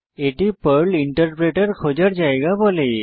এটি Perl interpreter খোঁজার জায়গা বলে